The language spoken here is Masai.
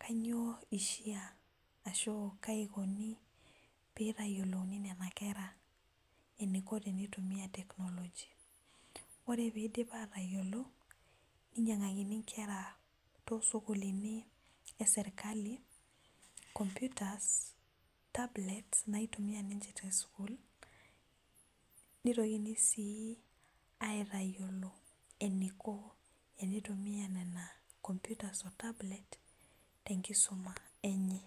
kanyio ishaa ahua kaa ikuni peyiolouni nena kera eniko tenitumia technology ore pidip atayiolo ninyangakini nkera tosukuluni eserkali computers, tablets, naitumia ninche tesukulnitoki si aitayiolo eniko tenitumia nona computers o tablets tenkisuma enye